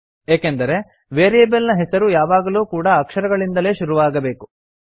ಏಕೆಂದರೆ ವೇರಿಯೇಬಲ್ ನ ಹೆಸರು ಯಾವಾಗಲೂ ಕೂಡಾ ಅಕ್ಷರಗಳಿಂದಲೇ ಶುರುವಾಗಬೇಕು